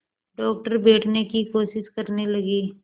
doctor बैठने की कोशिश करने लगे